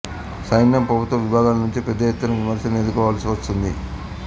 సైన్యం ప్రభుత్వ విభాగాల నుంచి పెద్ద ఎత్తున విమర్శల్ని ఎదుర్కోవాల్సి వచ్చింది